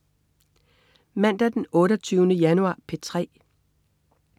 Mandag den 28. januar - P3: